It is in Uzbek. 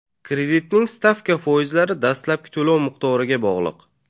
Kreditning stavka foizlari dastlabki to‘lov miqdoriga bog‘liq.